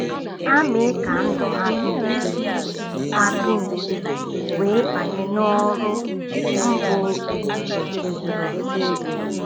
Ha mee ka ndụ ha dị mfe ha dị mfe wee banye n’ọrụ mbu izizi nke zuru oke.